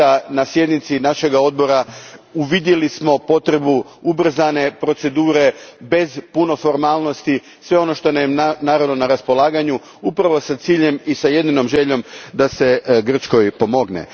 Na sjednici našeg Odbora uvidjeli smo potrebu ubrzane procedure bez puno formalnosti, sve ono što nam je na raspolaganju, upravo s ciljem i s jedinom željom da se Grčkoj pomogne.